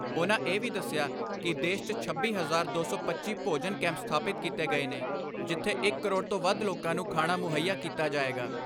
ਉਨ੍ਹਾਂ ਇਹ ਵੀ ਦਸਿਆ ਕਿ ਦੇਸ਼ 'ਚ ਛੱਬੀ ਹਜ਼ਾਰ ਦੋ ਸੌ ਪੱਚੀ ਭੋਜਨ ਕੈਂਪ ਸਥਾਪਿਤ ਕੀਤੇ ਗਏ ਨੇ ਜਿੱਥੇ ਇਕ ਕਰੋੜ ਤੋਂ ਵੱਧ ਲੋਕਾਂ ਨੂੰ ਖਾਣਾ ਮੁਹੱਈਆ ਕੀਤਾ ਜਾਏਗਾ।